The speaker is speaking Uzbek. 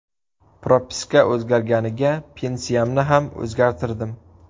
Propiska o‘zgarganiga, pensiyamni ham o‘zgartirdim.